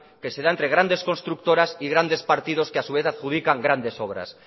que se da entre grandes constructoras y grandes partidos que a su vez adjudican grandes obras